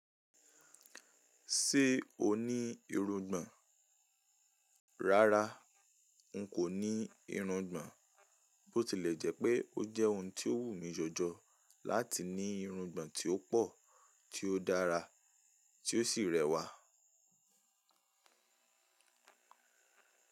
Ṣé o ní irungbọ̀n? Rárá, n kò ní irungbọ̀n. Bó tilẹ̀ jẹ́pé ó jẹ́ ohun tí ó wù mí jọ̀jọ̀ láti ní irungbọ̀n tí ó pọ̀, tí ó dára, tí ó sì rẹwà.